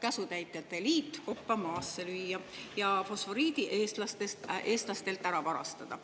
käsutäitjate liit kopa maasse lüüa ja fosforiidi eestlastelt ära varastada.